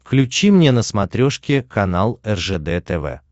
включи мне на смотрешке канал ржд тв